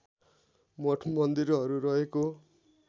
मठ मन्दिरहरू रहेको